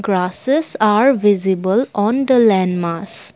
grasses are visible on the land mass.